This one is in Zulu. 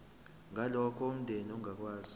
ngalokho umndeni ongakwazi